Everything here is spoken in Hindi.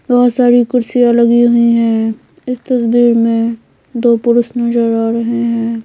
बहुत सारी कुर्सियां लगी हुई हैं इस तस्वीर में दो पुरुष नजर आ रहे हैं।